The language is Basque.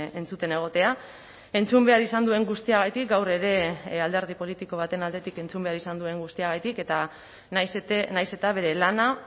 entzuten egotea entzun behar izan duen guztiagatik gaur ere alderdi politiko baten aldetik entzun behar izan duen guztiagatik eta nahiz eta bere lana